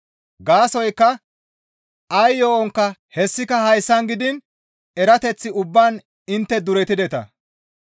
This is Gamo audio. Gaasoykka ay yo7onkka, hessika haasayan gidiin erateth ubbaan intte duretideta.